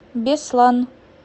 беслан